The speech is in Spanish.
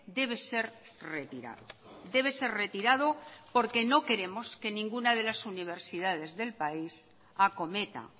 debe ser retirado debe ser retirado porque no queremos que ninguna de las universidades del país acometa